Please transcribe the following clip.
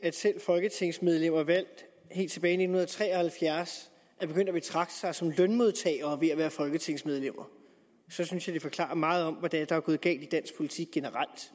at selv folketingsmedlemmer valgt helt tilbage i nitten tre og halvfjerds er begyndt at betragte sig som lønmodtagere ved at være folketingsmedlemmer så synes jeg at det forklarer meget om hvad det er der generelt er gået galt i dansk politik